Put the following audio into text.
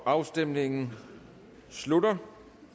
afstemningen slutter